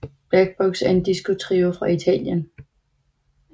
Black Box er en disco trio fra Italien